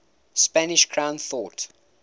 spanish crown thought